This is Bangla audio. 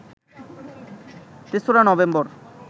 তেসরা নভেম্বর